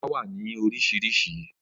Ata wa ni awọn oriṣiriṣi.